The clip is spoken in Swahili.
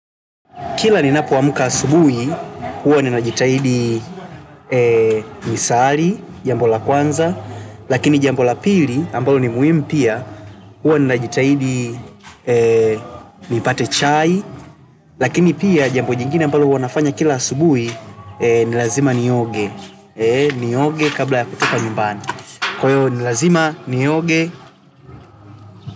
Kila ni napu wa muka asubui, huwa ninajitahidi misali, jambola kwanza, lakini jambola pili, ambalo ni muimia pia, huwa ninajitahidi nipate chai, lakini pia jambo jingine ambalo huwa nafanya kila asubui, nilazima nioge. Nioge kabla ya kutoka nyumbani. Kwa hiyo nilazima nioge.